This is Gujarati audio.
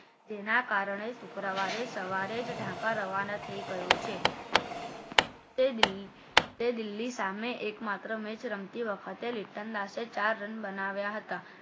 તેના કારણે શુક્રવારે સવારે ઢાનકા રવાના થઈ ગયો છે તે દિલ્હી સામે એકમાત્ર મેચ રમતી વખતે લીટન દાસે ચાર રન બનાવ્યા હતા